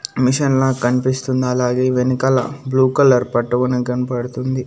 Machine లా కనిపిస్తుంది అలాగే వెనకాల బ్లూ కలర్ పట్టుకునేకి కనపడుతుంది.